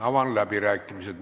Avan läbirääkimised.